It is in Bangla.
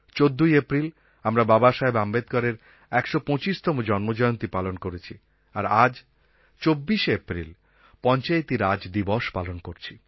চোদ্দই এপ্রিল আমরা বাবা সাহেব আম্বেদকরের ১২৫তম জন্মজয়ন্তী পালন করেছি আর আজ ২৪শে এপ্রিল পঞ্চায়েতি রাজ দিবস পালন করছি